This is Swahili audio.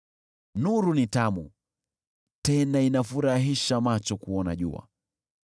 Nuru ni tamu, tena inafurahisha macho kuona jua.